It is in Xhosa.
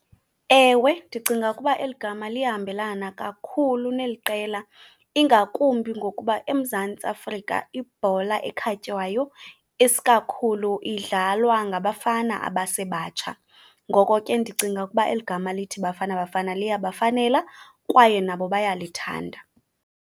Ewe ndicinga ukuba eli gama liyahambelana kakhulu neli qela, ingakumbi ngokuba eMzantsi Afrika ibhola ekhatywayo isikakhulu idlalwa ngabafana abasebatsha. Ngoko ke ndicinga ukuba eli gama lithi Bafana Bafana liyabafanela kwaye nabo bayalithanda.